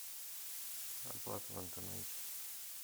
оплата в интернете